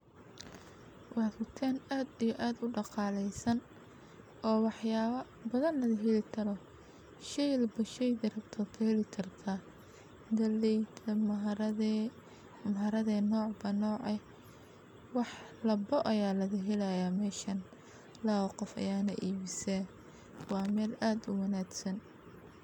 Waa dukaan aad iyo aad udaqaaleysan, oo wax yaaba badan laga heli karo, shey walbo sheyga rabto Kaheli kartaa, galeyda, mharagwe nocba nooce, wax walbo ayaa laga helaaya meeshan, labo qof ayaana iibisa, waa meel aad uwanagsan.